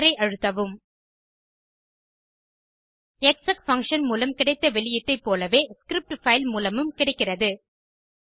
Enter ஐ அழுத்தவும் exec function மூலம் கிடைத்த வெளியீட்டைப் போலவே ஸ்கிரிப்ட் பைல் மூலமும் கிடைக்கிறது